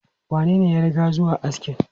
Wanene ya riga zuwa askin?